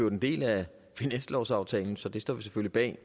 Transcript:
en del af finanslovsaftalen så vi står selvfølgelig bag